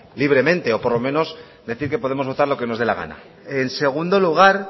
libremente o por lo menos decir que podemos votar lo que nos dé la gana en segundo lugar